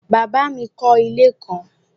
Bàbá mi kọ́ ilé kan